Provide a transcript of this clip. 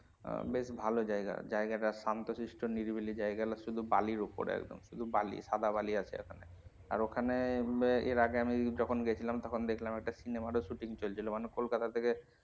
আহ বেশ ভালো জায়গা, জায়গা টা শান্ত শিষ্ট নিরিবিলি জায়গা শুধু বালির ওপরে আরকি শুধু বালি সাদা বালি আছে ওখানে আর ওখানে এর আগে আমি যখন গেছিলাম তখন একটা cinema র ও shooting চলছিলো মানে কোলকাতা থেকে,